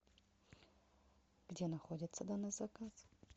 где находится данный заказ